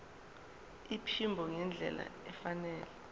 iphimbo ngendlela efanele